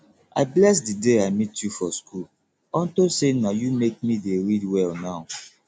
i bless the day i meet you for school unto say na you make me dey read well now